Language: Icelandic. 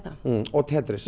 og Tetris ég